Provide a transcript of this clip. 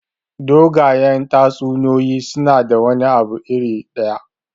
Dogayen tatsuniyoyi suna da wani abu iri ɗaya.